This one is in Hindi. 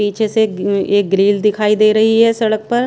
पीछे सेग अम्म एक ग्रिल दिखाई दे रही है सड़क पर--